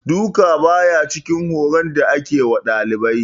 Duka, ba ya cikin horon da ake wa dalibai.